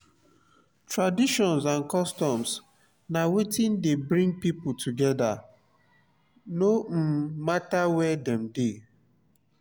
traditions and customs na wetin de bring pipo together no um matter where dem de